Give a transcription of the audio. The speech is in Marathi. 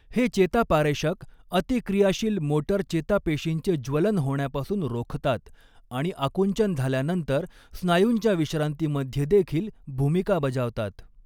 हे चेतापारेषक अतिक्रियाशील मोटर चेतापेशींचे ज्वलन होण्यापासून रोखतात आणि आकुंचन झाल्यानंतर स्नायूंच्या विश्रांतीमध्ये देखील भूमिका बजावतात.